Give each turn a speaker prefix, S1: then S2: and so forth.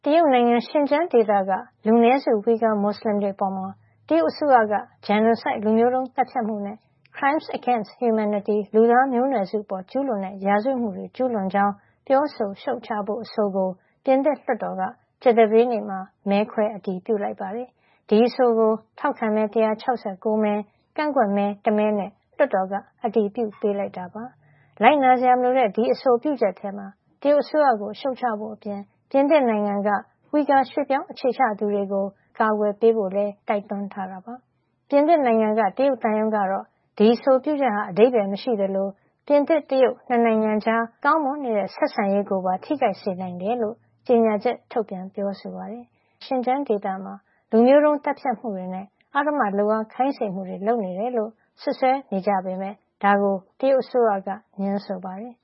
S1: တရုတ်နိုင်ငံ ရှင်ကျန်းဒေသကလူနည်းစု ဝှီဂါမွတ်လင်တွေ အပေါ် တရုတ်အစိုးရက genocide လူမျိုးတုံးသတ်ဖြတ်မှုနဲ့ crimes against humanityလူသားမျိုးနွယ်စုအပေါ် ကျူးလွန်တဲ့ ရာဇဝတ်မှုတွေ ကျူးလွန်ကြောင်း ပြောဆိုရှုတ်ချဖို့ အဆိုကို ပြင်သစ်လွှတ်တော်က ကြာသပတေးနေ့မှာ မဲခွဲအတည်ပြုလိုက်ပါတယ်။ ဒီအဆိုကို ထောက်ခံမဲ ၁၆၉မဲ ကန့်ကွက်မဲ ၁ မဲနဲ့ လွှတ်တော်ကအတည်ပြုပေးလိုက်တာပါ။ လိုက်နာစရာ မလိုတဲ့ ဒီအဆိုပြုချက်ထဲမှာ တရုတ်အစိုးရကိ ု ရှုတ်ချဖို့အပြင် ပြင်သစ်နိုင်ငံက ဝှီဂါ ရွှေ့ပြောင်း အခြေချသူတွေကို တရုတ်အစိုးရရဲ့ အနှောက်အယှက်ပေးမှုကနေ အကာကွယ်ပေးဖို့လည်း ပြင်သစ်အစိုးရကို တိုက်တွန်းထားတာပါ။ ပြင်သစ်နိုင်ငံက တရုတ်သံရုံးကတော့ ဒီအဆိုပြုချက်ဟာ အဓိပ္ပါယ် မရှိသလို ပြင်သစ် - တရုတ် ၂ နိုင်ငံကြား ကောင်းမွန်နေတဲ့ဆက်ဆံရေးကိုပါထိခိုက်စေနိုင်တယ်လို့ကြေညာချက် ထုတ်ပြန်ပြောဆိုပါတယ်။ တရုတ်အစိုးရဟာ ဝှီဂါမွတ်စလင် အများအပြား နေထိုင်ရာ ရှင်ကျန်းဒေသမှာ လူမျိုးတုံး သတ်ဖြတ်မှုတွေနဲ့ အဓမ္မလုပ်အား ခိုင်းစေမှုတွေ ကျူးလွန်နေတယ်လို့ စွပ်စွဲနေကြပေမယ့် ဒါကို တရုတ်အစိုးရက ငြင်းဆို
S2: ပါတယ်